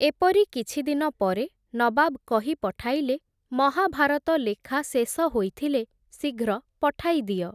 ଏପରି କିଛିଦିନ ପରେ ନବାବ୍ କହି ପଠାଇଲେ, ମହାଭାରତ ଲେଖା ଶେଷ ହୋଇଥିଲେ ଶୀଘ୍ର ପଠାଇ ଦିଅ ।